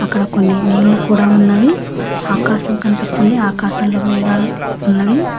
అక్కడ కొన్ని నీళ్ళు కూడా ఉన్నవి ఆకాశం కనిపిస్తుంది ఆకాశంలో మేఘాలు ఉన్నవి.